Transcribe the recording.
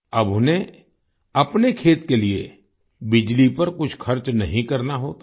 अब उन्हें अपने खेत के लिए बिजली पर कुछ खर्च नहीं करना होता है